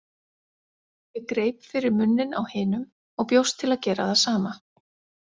Ég greip fyrir munninn á hinum og bjóst til að gera það sama.